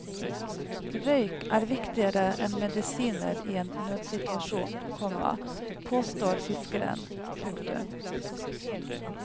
Røyk er viktigere enn medisiner i en nødsituasjon, komma påstår fiskeren. punktum